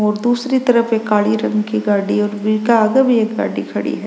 और दूसरे तरफ एक काले रंग की गाड़ी है और बिक आगे भी एक गाड़ी खड़ी है।